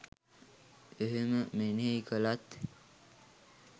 එහෙම මෙනෙහි කළත්